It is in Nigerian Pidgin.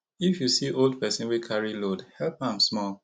if you see old pesin wey carry load help am small